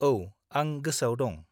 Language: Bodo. औ, आं गोसोआव दं।